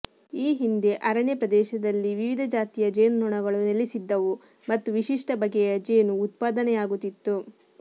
ಈ ಹಿಂದೆ ಅರಣ್ಯ ಪ್ರದೇಶದಲ್ಲಿ ವಿವಿಧ ಜಾತಿಯ ಜೇನು ನೊಣಗಳು ನೆಲೆಸಿದ್ದವು ಮತ್ತು ವಿಶಿಷ್ಟ ಬಗೆಯ ಜೇನು ಉತ್ಪದಾನೆಯಾಗುತ್ತಿತ್ತು